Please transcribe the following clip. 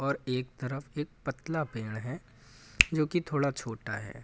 और एक तरफ एक पतला पेड़ है जो की थोड़ा छोटा है।